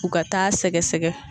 U ka taa sɛgɛsɛgɛ.